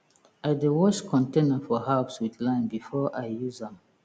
i dey wash container for herbs with lime before i use am